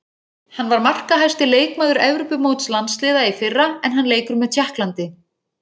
Hann var markahæsti leikmaður Evrópumóts landsliða í fyrra en hann leikur með Tékklandi.